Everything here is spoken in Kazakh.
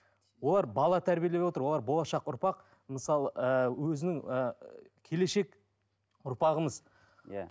олар бала тәрбиелеп отыр олар болашақ ұрпақ мысалы ыыы өзінің ііі келешек ұрпағымыз иә